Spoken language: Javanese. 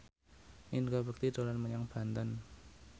Indra Bekti dolan menyang Banten